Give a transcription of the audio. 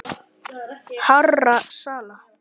hárra sala.